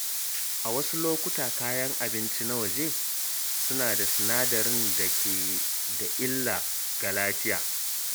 A wasu lokuta, kayan abinci na waje suna da sinadarai da ke da illa ga lafiya.